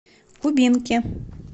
кубинки